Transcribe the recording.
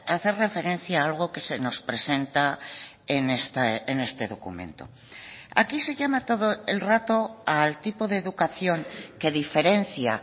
hacer referencia algo que se nos presenta en este documento aquí se llama todo el rato al tipo de educación que diferencia